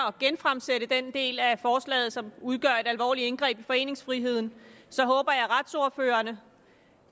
at genfremsætte den del af forslaget som udgør et alvorligt indgreb i foreningsfriheden så håber jeg at retsordførerne